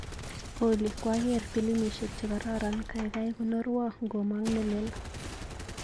Olly, kwaker pilimisiek chekororon ,kaikai konorwa ngomang nelel.